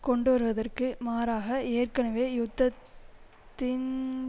கொண்டுவருவதற்கு மாறாக ஏற்கனவே யுத்தத்தின்